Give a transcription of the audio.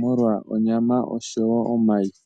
molwa onyama oshowo omayi.